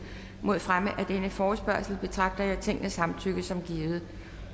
mod fremme af denne forespørgsel betragter jeg tingets samtykke som givet